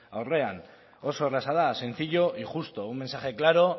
aurrean oso erraza da sencillo y justo un mensaje claro